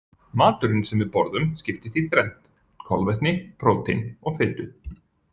Maturinn sem við borðum skiptist í þrennt: kolvetni, prótín og fitu.